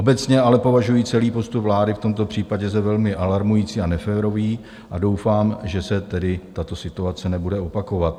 Obecně ale považuji celý postup vlády v tomto případě za velmi alarmující a neférový a doufám, že se tedy tato situace nebude opakovat.